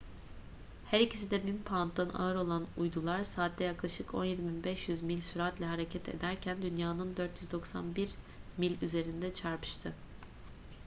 her ikisi de 1.000 pounddan ağır olan uydular saatte yaklaşık 17.500 mil süratle hareket ederken dünya'nın 491 mil üzerinde çarpıştı